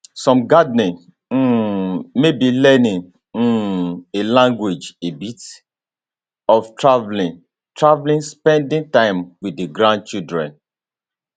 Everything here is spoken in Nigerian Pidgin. some gardening um maybe learning um a language a bit of travelling travelling spending time with di grandchildren